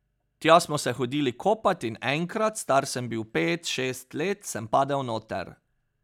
Tja smo se hodili kopat in enkrat, star sem bil pet, šest let, sem padel noter.